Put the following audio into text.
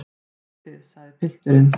Heyrið þið, sagði pilturinn.